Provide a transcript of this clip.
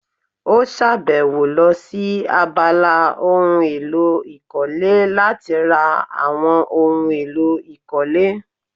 Ó sàbẹ̀wò lọ sí abala ohun èlò ìkọ́lé láti ra àwọn ohun èlò ìkọ́lé